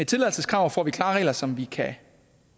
tilladelseskrav får vi klare regler som vi kan